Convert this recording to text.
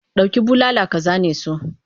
Dauki bulala ka zane su!